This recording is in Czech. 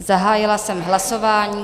Zahájila jsem hlasování.